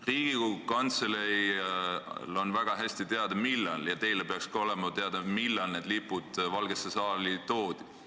Riigikogu Kantseleil on väga hästi teada ja teil peaks ka olema teada, millal need lipud sinna toodi.